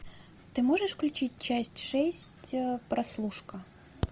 ты можешь включить часть шесть прослушка